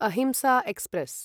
अहिंसा एक्स्प्रेस्